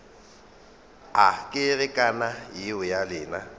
a kerekana yeo ya lena